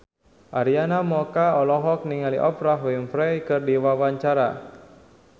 Arina Mocca olohok ningali Oprah Winfrey keur diwawancara